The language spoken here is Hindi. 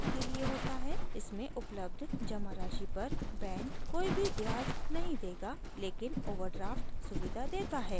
इसमें उपलब्ध जमा राशि पर बैंक कोई भी ब्याज नहीं देगा लेकिन ओवरड्रॉफ्ट खाते में जमा से अधिक राशि निकालना सुविधा देता है